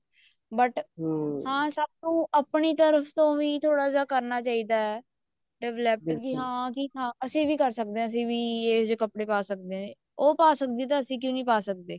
but ਹਾਂ ਸਾਨੂੰ ਆਪਣੀ ਤਰਫ਼ ਤੋਂ ਵੀ ਥੋੜਾ ਜਾ ਉਹ ਕਰਨਾ ਚਾਹੀਦਾ develop ਹਾਂ ਵੀ ਅਸੀਂ ਵੀ ਕਰ ਸਕਦੇ ਹਾਂ ਅਸੀਂ ਵੀ ਇਹੋ ਜਿਹੇ ਕੱਪੜੇ ਪਾ ਸਕਦੇ ਹਾਂ ਉਹ ਪਾ ਕਸਦੀ ਹੈ ਤਾਂ ਅਸੀਂ ਕਿਉਂ ਨੀ ਪਾ ਸਕਦੇ